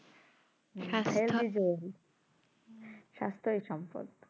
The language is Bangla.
স্বাস্থ্যের সম্পর্কে